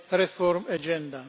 Reform Agenda